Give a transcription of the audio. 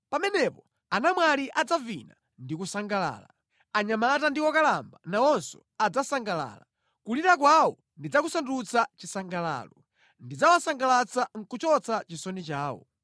Pamenepo anamwali adzavina ndi kusangalala. Anyamata ndi okalamba nawonso adzasangalala. Kulira kwawo ndidzakusandutsa chisangalalo; ndidzawasangalatsa nʼkuchotsa chisoni chawo.